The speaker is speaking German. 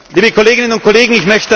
liebe Kolleginnen und Kollegen